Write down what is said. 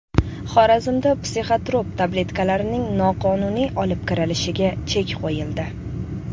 Xorazmda psixotrop tabletkalarning noqonuniy olib kirilishiga chek qo‘yildi.